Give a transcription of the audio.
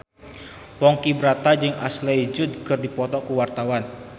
Ponky Brata jeung Ashley Judd keur dipoto ku wartawan